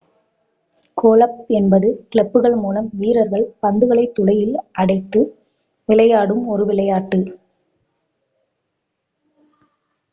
golf என்பது கிளப்புகள் மூலம் வீரர்கள் பந்துகளை துளையில் அடித்து விளையாடும் ஒரு விளையாட்டு